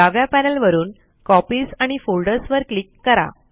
डाव्या पॅनल वरून कॉपीज आणि फोल्डर्स वर क्लिक करा